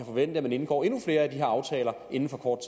forvente at man indgår endnu flere af de her aftaler inden for kort